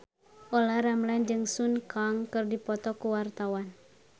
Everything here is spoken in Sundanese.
Olla Ramlan jeung Sun Kang keur dipoto ku wartawan